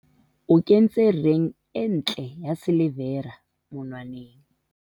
O kentse reng e ntle ya silivera monwaneng.